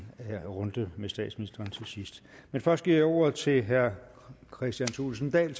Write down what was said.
runde med statsministeren til sidst men først giver jeg ordet til herre kristian thulesen dahl